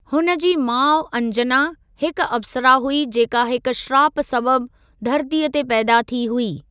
हुन जी माउ अंजना हिक अप्सरा हुई जेका हिक श्राप सबबि धरतीअ ते पैदा थी हुई।